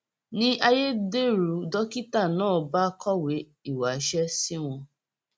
ni ayédèrú dókítà náà bá kọwé ìwáṣẹ sí wọn